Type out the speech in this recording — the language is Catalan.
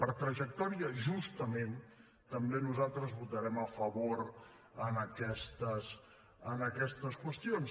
per trajectòria justament també nosaltres votarem a favor en aquestes qüestions